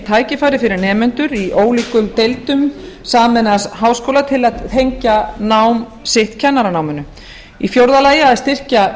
tækifæri fyrir nemendur í ólíkum deildum sameinaðs háskóla til að tengja nám sitt kennaranámi fjórði að styrkja